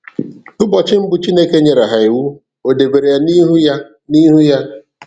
"Ụbọchị mbụ Chineke nyere ha iwu, O dobere ya n'ihu ya n'ihu ha.